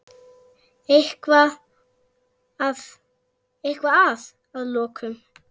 Eitthvað að að lokum?